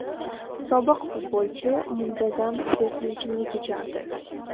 Sobiq futbolchi muntazam spirtli ichimlik ichardi.